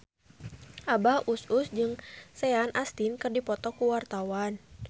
Abah Us Us jeung Sean Astin keur dipoto ku wartawan